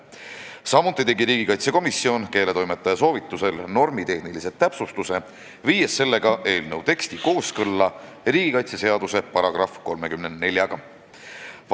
Samuti tegi komisjon keeletoimetaja soovitusel normitehnilise täpsustuse, viies eelnõu teksti kooskõlla riigikaitseseaduse §-ga 34.